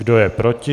Kdo je proti?